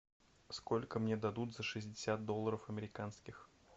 сколько мне дадут за шестьдесят долларов американских